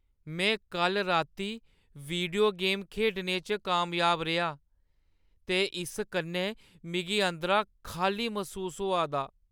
में कल्ल राती वीडियो गेम खेढने च कामयाब रेहा ते इस कन्नै मिगी अंदरा खाल्ली मसूस होआ दा।